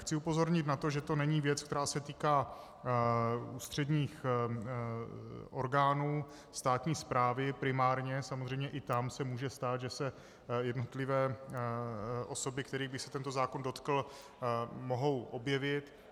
Chci upozornit na to, že to není věc, která se týká ústředních orgánů státní správy, primárně, samozřejmě i tam se může stát, že se jednotlivé osoby, kterých by se tento zákon dotkl, mohou objevit.